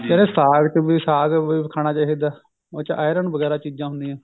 ਕਹਿੰਦੇ ਸਾਗ ਚ ਵੀ ਸਗ ਖਾਣਾ ਚਾਹਿਦਾ ਉਸ ਚ iron ਵਗੇਰਾ ਚੀਜਾਂ ਹੁੰਦਿਆ ਨੇ